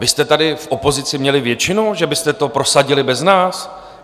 Vy jste tady v opozici měli většinu, že byste to prosadili bez nás?